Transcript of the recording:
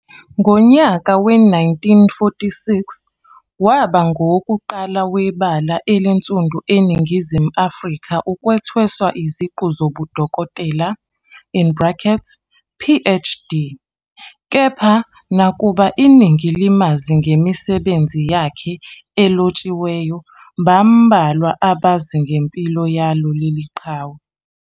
Ngonyaka we-1946 waba nguwokuqala webala elinzundu eNingizimu Afrika ukwethweswa iziqu zobuDokotela, in brackets, Ph.D. Kepha nakuba iningi limazi ngemisebenzi yakhe elotshiweyo, bambalwa abazi ngempilo yalo leli qhawe.